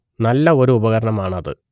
നല്ല ഒരു ഉപകരണം ആണ് അത്